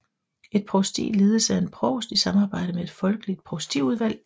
Et provsti ledes af en provst i samarbejde med et folkevalgt provstiudvalg